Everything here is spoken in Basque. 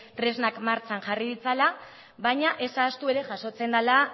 tresnak martxan jarri ditzala baina ez ahaztu ere jasotzen dela